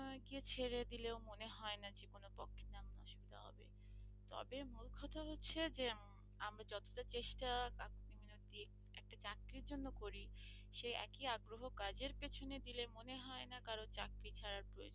গিয়ে ছেড়ে দিলেও মনে হয় না জীবনের পক্ষে তেমন অসুবিধা হবে তবে মূল কথা হচ্ছে যে আমরা যতটা চেষ্টা একটা চাকরির জন্য করি সেই একই আগ্রহ কাজের পেছনে দিলে মনে হয় না কারো চাকরি ছাড়ার প্রয়োজন ।